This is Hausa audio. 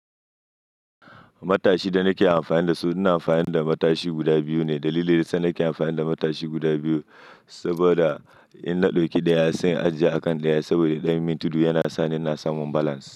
Matashi da nake amfani da su, ina amfani da matashi guda biyu ne. Dalili da sa nake amfani da matashi guda biyu, saboda in na ɗauki ɗaya sai ajiye a kan ɗaya, saboda ɗayan minti biyu yana sa ina samun balance.